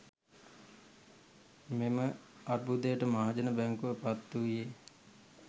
මෙම අර්බුදයට මහජන බැංකුව පත්වූයේ